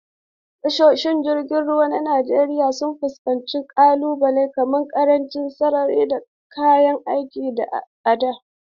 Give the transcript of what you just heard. Tashoshin ruwa na Najeriya sun fuskanci ƙalubale kamar ƙarancin sararin da kayan aiki a da.